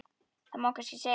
Það má kannski segja það.